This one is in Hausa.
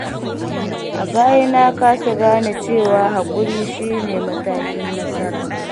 A baya na kasa gane cewa haƙuri shine matakin nasara.